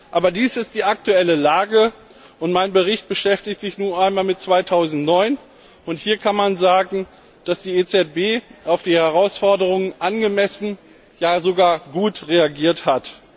Aber dies ist die aktuelle Lage, und mein Bericht beschäftigt sich nun einmal mit 2009, und hier kann man sagen, dass die EZB auf die Herausforderungen angemessen, ja sogar gut reagiert hat.